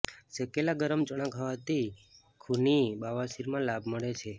શેકેલા ગરમ ચણા ખાવાથી ખૂની બવાસીર માં લાભ મળે છે